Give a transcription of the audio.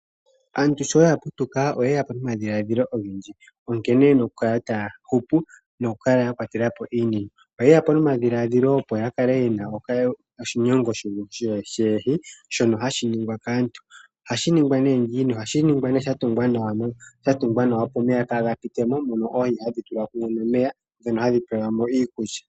Aantu sho ya putuka oyeya po nomadhiladhilo ogendji nkene yena oku kala taya hupu noku kwatela po iinima. Oyeya po nomadhiladhila opo ya kale yena okashinyongo shoohi shono hashi ningwa kaantu ohashi ningwa nee sha tungwa nawa opo omeya kaaga pite mo mono oohi hadhi tulwa mumwe nomeya ndhono hadhi pewelwa mo iikulya.